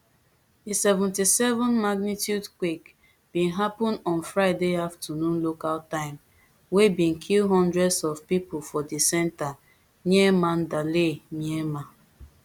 di seventy-sevenmagnitude quake bin happun on friday afternoon local time wey bin kill hundreds of pipo for di centre near mandalay myanmar